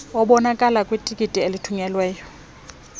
obonakala kwitikiti olithunyelweyo